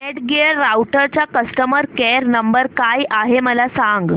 Netgear राउटरचा customer care number काय आहे मला सांग